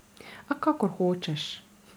A kakor hočeš.